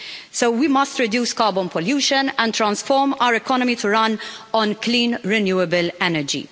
So we must reduce carbon pollution and transform our economy to run on clean renewable energy.